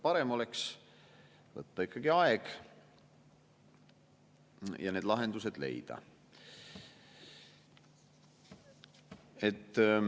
Parem oleks võtta ikkagi aega ja need lahendused leida.